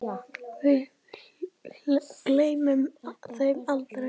Við gleymum þeim aldrei.